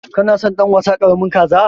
Kana son dan wasa karamin kaza?